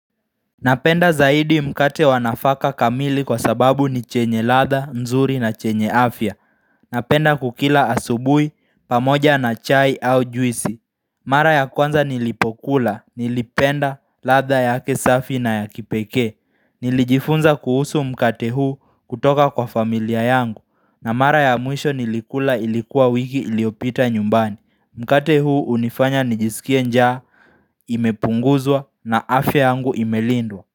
Napenda zaidi mkate wa nafaka kamili kwa sababu ni chenye ladha, nzuri na chenye afya Napenda kukila asubuhi, pamoja na chai au juisi Mara ya kwanza nilipokula nilipenda ladha yake safi na ya kipekee Nilijifunza kuhusu mkate huu kutoka kwa familia yangu na mara ya mwisho nilikula ilikuwa wiki iliyopita nyumbani. Mkate huu hunifanya nijisikie njaa imepunguzwa na afya yangu imelindwa.